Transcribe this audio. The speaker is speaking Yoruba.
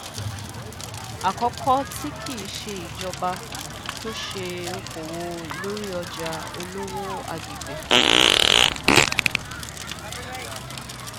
àkọkọ tí kì í ṣe ìjọba tó ṣe okòwò lórí ọjà olówó àgbègbè